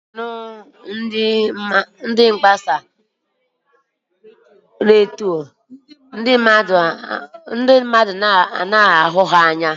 A na-anụ ndị mgbasa ozi redio, ndị mmadụ anaghị ahụ ya.